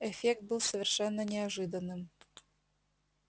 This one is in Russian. эффект был совершенно неожиданным